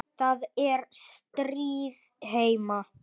Það er stríð heima.